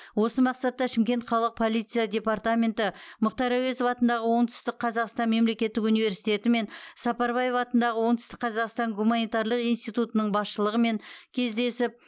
осы мақсатта шымкент қалалық полиция департаменті мұхтар әуезов атындағы оңтүстік қазақстан мемлекеттік университеті мен м сапарбаев атындағы оңтүстік қазақстан гуманитарлық институтының басшылығымен кездесіп